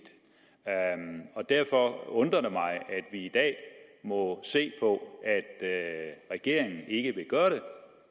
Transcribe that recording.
derfor undrer det mig at vi i dag må se på at at regeringen ikke vil gøre det